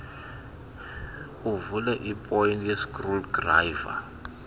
uvule iipoyinti ngeskrudrayiva